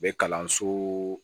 U bɛ kalanso